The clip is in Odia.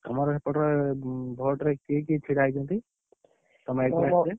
ତମର ସେପଟରେ vote ରେ, କିଏ କିଏ ଛିଡା ହେଇଛନ୍ତି?